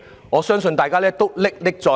我相信大家都歷歷在目。